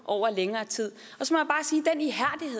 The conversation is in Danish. over længere tid